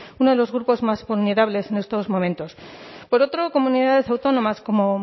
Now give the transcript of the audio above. uno de los grupos más vulnerables en estos momentos por otro comunidades autónomas como